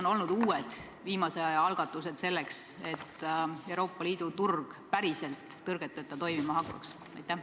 Mis on olnud uued, viimase aja algatused, selleks et Euroopa Liidu turg päriselt tõrgeteta toimima hakkaks?